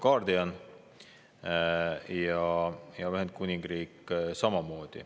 Ka Ühendkuningriik.